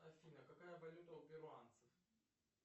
афина какая валюта у перуанцев